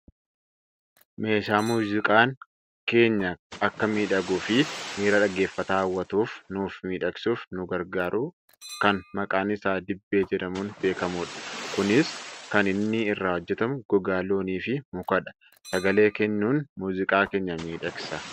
Meeshaa muuziqaan keenya akka miidhaguufi miira dhaggeeffataa hawwatuuf nuuf miidhagsuuf nu gargaaru kan maqaan isaa diibbee jedhamuun beekkamudha. Kunis kan inni irraa hojjatamu gogaa loonii fi mukadha. Sagalee kennuun muuziqaa keenya miidhagsa.